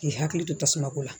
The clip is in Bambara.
K'i hakili to tasuma ko la